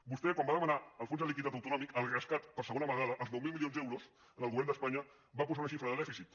vostè quan va demanar el fons de liquiditat autonòmic el rescat per segon vegada els nou mil milions d’euros al govern d’espanya va posar una xifra de dèficit